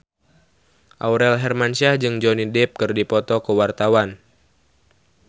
Aurel Hermansyah jeung Johnny Depp keur dipoto ku wartawan